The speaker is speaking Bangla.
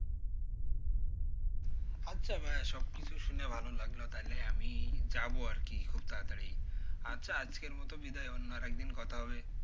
আচ্ছা ভাইয়া সবকিছু শুনে ভালো লাগলো তাহলে আমি যাবো আরকি খুব তাড়াতড়ি, আচ্ছা আজকের মতো বিদায়, অন্য আর একদিন কথা হবে।